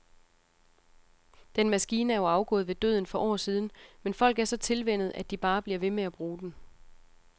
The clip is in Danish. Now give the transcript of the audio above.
Den maskine er jo afgået ved døden for år siden, men folk er så tilvænnet, at de bare bliver ved med at bruge den.